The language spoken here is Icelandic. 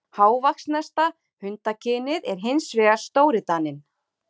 Hávaxnasta hundakynið er hins vegar stórdaninn.